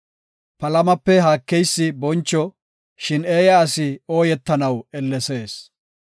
Palamape haakeysi boncho; shin eeya asi ooyetanaw ellesees.